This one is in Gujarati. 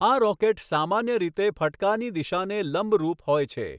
આ રોકેટ સામાન્ય રીતે ફટકાની દિશાને લંબરૂપ હોય છે.